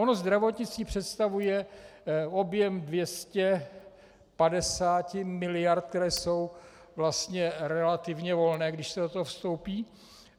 Ono zdravotnictví představuje objem 250 mld., které jsou vlastně relativně volné, když se do toho vstoupí.